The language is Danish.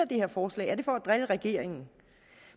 det her forslag er det for at drille regeringen